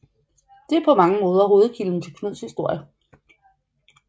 Det er på mange måder hovedkilden til Knuds historie